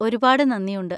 ഒരുപാട് നന്ദിയുണ്ട്.